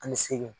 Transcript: Ani seegin